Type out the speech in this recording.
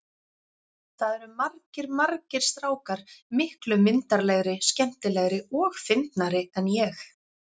Það eru margir, margir strákar miklu myndarlegri, skemmtilegri og fyndnari en ég.